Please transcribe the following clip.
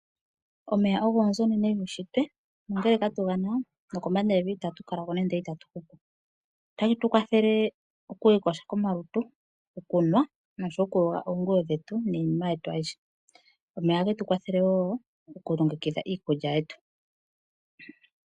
Omeya ogo onzo onene muunshitwe, ongele katugana nokombanda yevi itatu kalako nande otatu hupu. Ota getukwathele okwiiyoga komalutu, okunwa, nosho wo okuyoga oonguwo dhetu niinima yetu ayihe. Omeya ohagetu kwathele wo okulongekidha iikulya yetu.